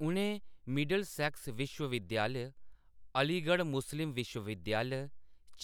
उʼनें मिडिलसेक्स विश्वविद्यालय, अलीगढ़ मुस्लिम विश्वविद्यालय,